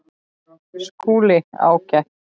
SKÚLI: Ágætt!